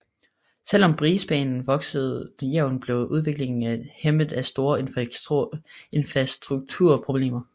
Selv om Brisbane voksede jævnt blev udviklingen hæmmet af store infrastrukturproblemer